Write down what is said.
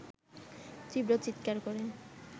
তীব্র চিৎকার করে